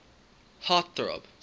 heart throb